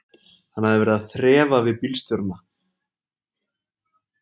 Hann hafði verið að þrefa við bílstjórana.